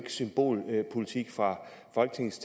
symbolpolitik fra folketingets